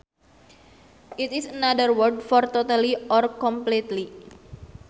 It is another word for totally or completely